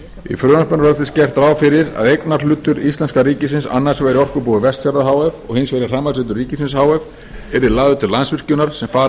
í frumvarpinu er auk þess gert ráð fyrir að eignarhlutur íslenska ríkisins annars vegar í orkubúi vestfjarða h f og hins vegar í rafmagnsveitum ríkisins h f yrði lagður til landsvirkjunar sem fara